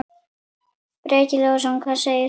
Breki Logason: Hvað segir þú?